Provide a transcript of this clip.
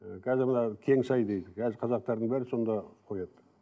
і қазір мына кеңсай дейді қазір қазақтардың бәрі сонда қояды